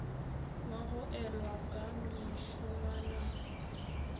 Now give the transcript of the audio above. wa go elwa ka mešongwana